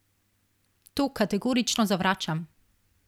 To kategorično zavračam.